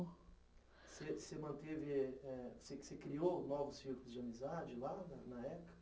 Você manteve, eh você criou novos filtros de amizade lá na na época?